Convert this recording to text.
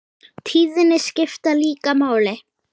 Tíðnin skiptir líka máli.